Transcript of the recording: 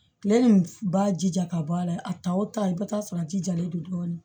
Kile in b'a jija ka bɔ a la a ta wo ta i bɛ taa sɔrɔ a jijalen don dɔɔnin